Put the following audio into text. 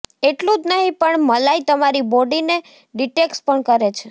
એટલું જ નહીં પણ મલાઈ તમારી બોડી ને ડિટેક્સ પણ કરે છે